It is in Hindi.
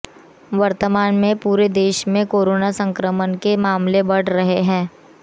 वर्तमान में पूरे देश में कोरोना संक्रमण के मामले बढ़ रहे हैं